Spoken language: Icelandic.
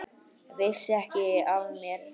Vissi ekki af mér, lengi.